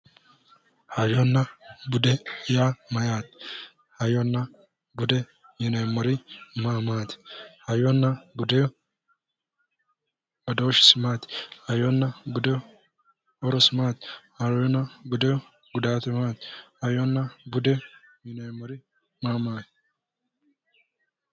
Hayyonna bude yaa mayyaate hayyonna bude yineemmori ma maati hayyonna budeho badooshisi maati hayyonna budeho horosi maati hayyonna budeho gudaatu maati hayyonna budeho yineemmori maa maati